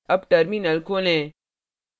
अब terminal खोलें